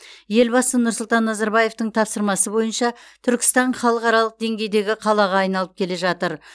елбасы нұрсұлтан назарбаевтың тапсырмасы бойынша түркістан халықаралық деңгейдегі қалаға айналып келе жатыр